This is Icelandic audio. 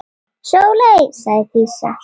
Sóley, sagði Dísa.